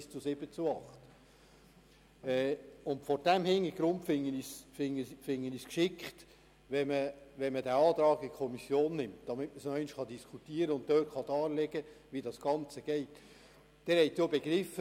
Vor diesem Hintergrund finde ich es geschickt, den Antrag in die Kommission zu nehmen, damit man noch einmal darüber diskutieren und darlegen kann, wie das Ganze funktioniert.